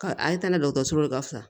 Ka a ye taa ni dɔgɔtɔrɔso de ye ka fɔ